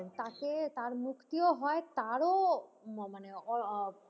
তাকে তার মুক্তিও হয় তারও মানে ও,